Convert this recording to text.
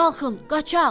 Qalxın, qaçaq.